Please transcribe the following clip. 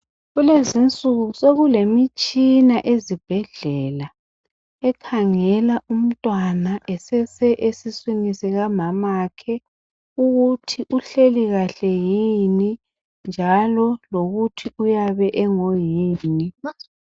Kulezinsuku sokulemitshina ezibhedlela ekhangela umntwana esesesiswini sikamamakhe ukuthi uhleli kahle yini njalo lokuthi uyabe engoyini.